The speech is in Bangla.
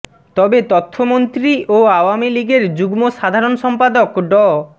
তবে তথ্যমন্ত্রী ও আওয়ামী লীগের যুগ্ম সাধারণ সম্পাদক ড